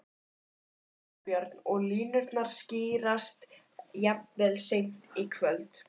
Þorbjörn: Og línurnar skýrast jafnvel seint í kvöld?